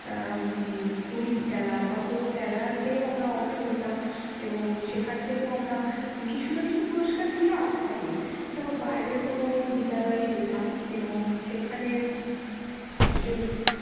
আহ উম Quiz খেলা বা কোনো খেলাতেও আমরা অংশ নিতাম এবং সেখান থেকেও আমরা কিছু না কিছু পুরস্কার নিয়ে আসতামই। তারপর বাইরের কোনো বিদ্যালয়ে যেতাম এবং সেখানে, উম খেল~